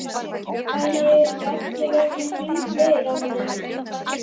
Æ, eru ekki allir orðnir hundleiðir á honum?